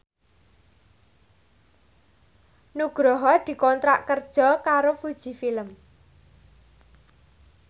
Nugroho dikontrak kerja karo Fuji Film